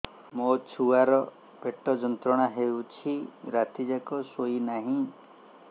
ମୋ ଛୁଆର ପେଟ ଯନ୍ତ୍ରଣା ହେଉଛି ରାତି ଯାକ ଶୋଇନାହିଁ